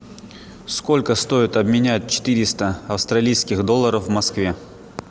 сколько стоит обменять четыреста австралийских долларов в москве